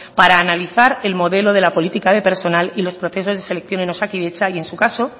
para analizar el modelo de la política de personal y los procesos de selección en osakidetza y en su caso